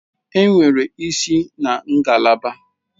Enwere isi na ngalaba.